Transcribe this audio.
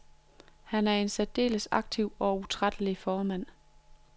Han er en særdeles aktiv og utrættelig formand.